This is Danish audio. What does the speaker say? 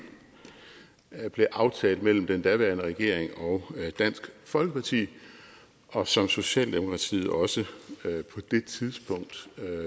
blev aftalt mellem den daværende regering og dansk folkeparti og som socialdemokratiet også på det tidspunkt